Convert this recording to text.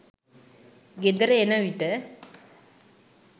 ගෙදර එන විට